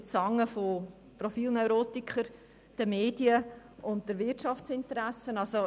Wir werden von Profilneurotikern, Medien und Wirtschaftsinteressen in die Zange genommen.